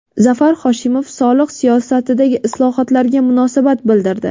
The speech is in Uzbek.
Zafar Hoshimov soliq siyosatidagi islohotlarga munosabat bildirdi.